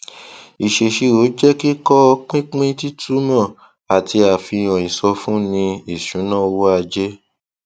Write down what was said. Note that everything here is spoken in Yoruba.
ìṣèṣirò jẹ kíkọ pípín títúmọ àti àfihàn ìsọfúnni ìṣúnná owó ajé